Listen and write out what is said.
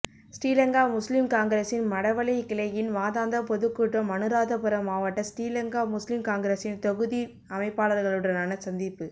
ஸ்ரீலங்கா முஸ்லிம் காங்கிரசின் மடவளை கிளையின் மாதாந்த பொதுக்கூட்டம் அனுராதபுரமாவட்ட ஸ்ரீலங்கா முஸ்லிம் காங்கிரஸின் தொகுதி அமைப்பாளர்களுடனான சந்திப்பு